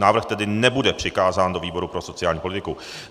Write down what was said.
Návrh tedy nebude přikázán do výboru pro sociální politiku.